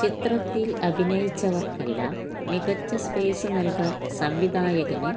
ചിത്രത്തില് അഭിനയിച്ചവര്ക്കെല്ലാം മികച്ച സ്പേസ് നല്കാന് സംവിധായകന്